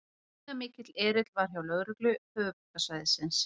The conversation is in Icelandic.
Gríðarmikill erill var hjá lögreglu höfuðborgarsvæðisins